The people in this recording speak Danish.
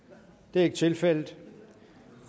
det er ikke tilfældet